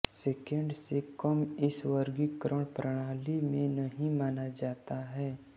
second से कम इस वर्गीकरण प्रणाली में नहीं माना जाता है